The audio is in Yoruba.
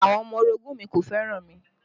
Àwọn ọmọ orogun mi kò fẹ́ràn mi